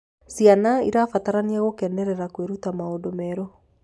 Ciana irabatarania kugekenerera kwiruta maundu meru